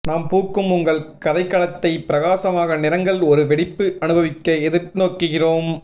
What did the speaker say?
நாம் பூக்கும் உங்கள் கதைக்களத்தை பிரகாசமான நிறங்கள் ஒரு வெடிப்பு அனுபவிக்க எதிர்நோக்குகிறோம்